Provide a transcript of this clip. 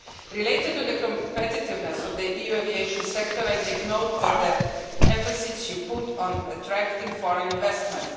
Related to the competitiveness of the EU aviation sector, I take note of the emphasis you put on attracting foreign investment.